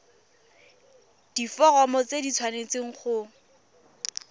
diforomo tse di tshwanesteng go